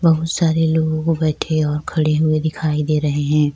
بہت سارے لوگ بیٹھے اور کھڑے ہوئے دکھائی دے رہے ہیں-